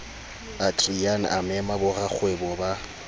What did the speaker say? adriaan a mema borakgwebo ba